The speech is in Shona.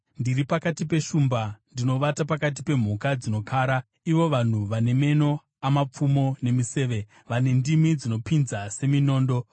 Ndiri pakati peshumba; ndinovata pakati pemhuka dzinokara, ivo vanhu vane meno amapfumo nemiseve, vane ndimi dzinopinza seminondo.